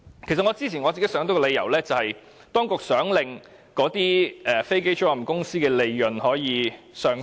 其實，我之前曾經想到一個理由，就是當局想令飛機租賃公司的利潤上升。